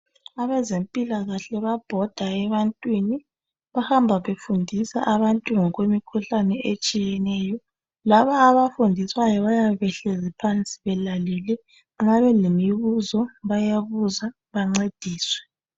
abazempilakahle babhoda ebantwini behamba befundisa abantu ngokwe mikhuhlane etshiyeneyo labo abafundiswayo bayabe behlezi phansi belalele nxa belemibuzo bayabuza bancediswe